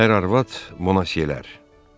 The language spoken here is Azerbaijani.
Ər arvad monasiyələr.